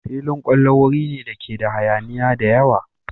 Filin kwallo wuri ne dake da hayaniya da yawa.